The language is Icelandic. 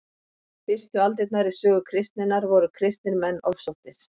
fyrstu aldirnar í sögu kristninnar voru kristnir menn ofsóttir